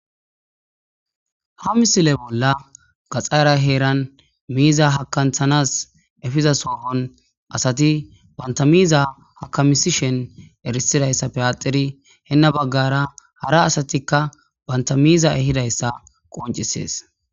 Ha misile bolla gaxara heeran miiza hakanthanas efiza soohon asati bantamiiza hakamisishen erisidayssa peyaxeri henna baggara hara asatikka bantamiiza ehidayssa qoncisees.